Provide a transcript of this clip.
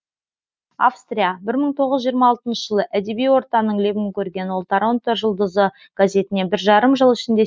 австрия бір мың тоғыз жүз жиырма алты жылы әдеби ортаның лебін көрген ол торонто жұлдызы газетіне бір жарым жыл ішінде